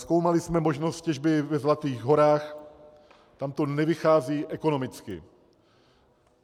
Zkoumali jsme možnost těžby ve Zlatých Horách, tam to nevychází ekonomicky.